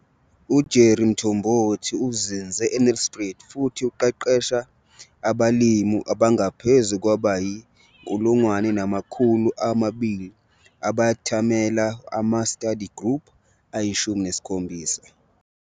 U-Jerry Mthombothi uzinze eNelspruit futhi uqeqesha abalimi abangaphezulu kwabayi-1 200 abathamela ama-study group ayi-17.